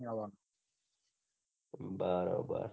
બરોબર બરોબર